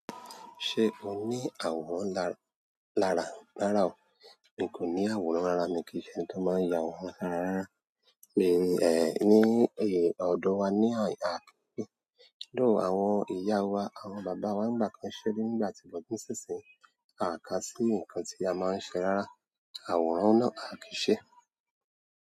Ṣé o ní àwòrán lára- lára? Rára ọ. Mi kò ní àwòrán lára mi kìí ṣe ẹni tó máa yà àwòrán sára rárá. Ní ọ̀dọ̀ wa ní àhin though àwọn ìyá wa, àwọn bàbá wa ń nígbà kan ṣe nígbà tí wọn kín ṣínṣín. A kà sí nǹkan tí a máa ń ṣe rárá. Àwòrán náà a kì í ṣe.